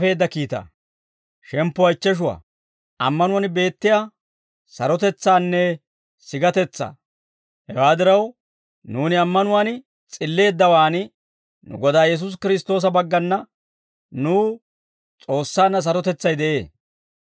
Hewaa diraw, nuuni ammanuwaan S'illeeddawaan, nu Godaa Yesuusi Kiristtoosa baggana nuw S'oossaanna sarotetsay de'ee;